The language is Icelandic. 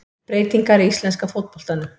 Breytingar í íslenska fótboltanum